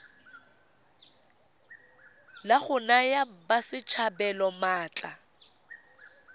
la go naya batswasetlhabelo maatla